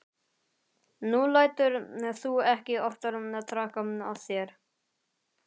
Nú lætur þú ekki oftar traðka á þér.